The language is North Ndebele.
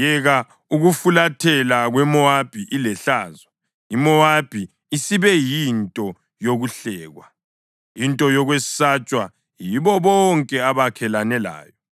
Yeka ukufulathela kweMowabi ilehlazo! IMowabi isibe yinto yokuhlekwa; into yokwesatshwa yibo bonke abakhelane layo.”